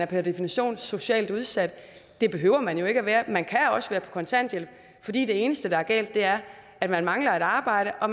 per definition er socialt udsat det behøver man jo ikke at være man kan også være på kontanthjælp fordi det eneste der er galt er at man mangler et arbejde og